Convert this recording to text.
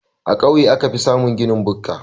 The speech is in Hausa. A kauye aka fi samun ginin bukka.